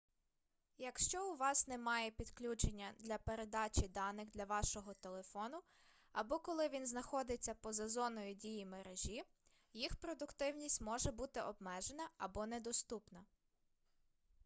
якщо у вас немає підключення для передачі даних для вашого телефону або коли він знаходиться поза зоною дії мережі їх продуктивність може бути обмежена або недоступна